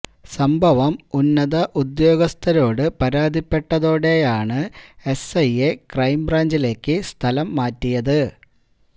സംഭവം ഉന്നത ഉദ്യോഗസ്ഥരോടു പരാതിപ്പെട്ടതോടെയാണ് എസ്ഐയെ ക്രൈം ബ്രാഞ്ചിലേക്ക് സ്ഥലം മാറ്റിയത്